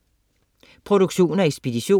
Produktion og ekspedition: